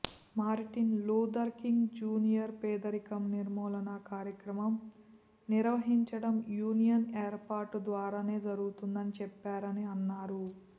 Martin Luther King Junior పేదరికం నిర్మూలన కార్యక్రమం నిర్వహించటం యూనియన్ ఏర్పాటుద్వారానే జరుగుతుందని చెప్పారని అన్నారు